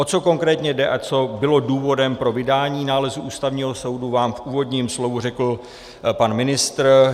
O co konkrétně jde a co bylo důvodem pro vydání nálezu Ústavního soudu, vám v úvodním slově řekl pan ministr.